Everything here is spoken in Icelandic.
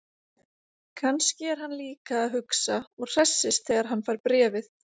Kannski er hann líka að hugsa og hressist þegar hann fær bréfið.